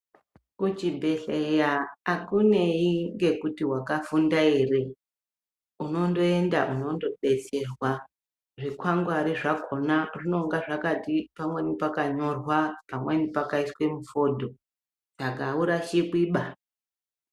Kuchibhedhleya akunei ngekuti wakafunda ere unondoenda weindodetserwa zvikwangwari zvakhona zvinonga zvakati pamweni pakanyirwa pamweni pakaiswe mufodho saka aurasikwiba.